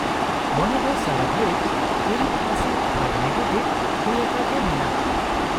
-ᱢᱚᱱᱮ ᱫᱚ ᱥᱟᱨᱟ ᱜᱷᱟᱹᱲᱤᱪ ᱦᱤᱨᱤᱡ ᱯᱟᱥᱤᱨ ᱟᱨ ᱱᱮᱜᱮᱴᱤᱵᱷ ᱦᱩᱭᱟᱠᱟᱜᱮ ᱢᱮᱱᱟᱜᱼᱟ ᱾